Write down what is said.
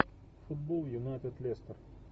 футбол юнайтед лестер